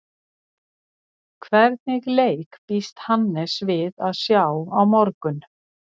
Hvernig leik býst Hannes við að sjá á morgun?